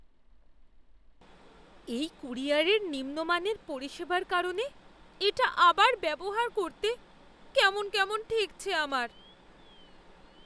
এই ক্যুরিয়রের নিম্নমানের পরিষেবার কারণে এটা আবার ব্যবহার করতে কেমন কেমন ঠেকছে আমার।